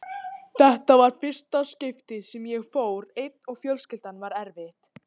Þetta var í fyrsta skiptið sem ég fór einn og fjölskyldan var eftir.